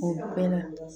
O bɛɛ la